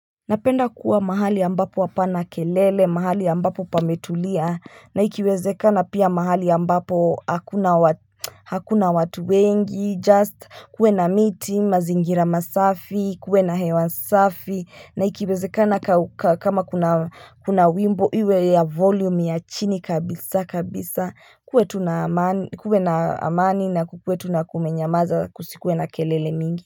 Napenda kuwa mahali ambapo hapana kelele, mahali ambapo pametulia, na ikiwezekana pia mahali ambapo hakuna watu wengi, just kuwe na miti, mazingira masafi, kuwe na hewa safi, na ikiwezekana kama kuna wimbo iwe ya volume ya chini kabisa kabisa, kuwe na amani na kuwe tu kumenyamaza, kusikuwe na kelele nyingi.